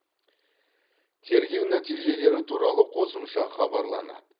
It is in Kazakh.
тергеу нәтижелері туралы қосымша хабарланады